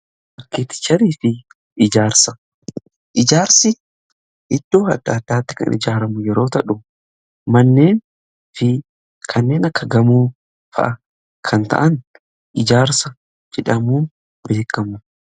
Arkeeticharii fi ijaarsi iddoo adda addaatti kan ijaaramu yeroo ta'u manneen fi kanneen akka gamoofaa kan ta'an ijaarsa jedhamuun beekamu.